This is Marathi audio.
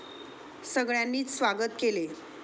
सगळ्यांनीच स्वागत केले.